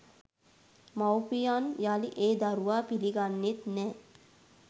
මවුපියන් යළි ඒ දරුවා පිළිගන්නෙත් නැහැ.